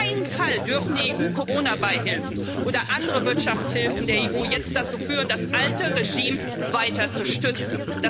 Auf keinen Fall dürfen die EU Coronabeihilfen oder andere Wirtschaftshilfen der EU jetzt dazu führen, das alte Regime weiter zu stützen.